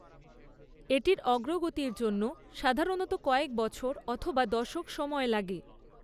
এটির অগ্রগতির জন্য সাধারণত কয়েক বছর অথবা দশক সময় লাগে।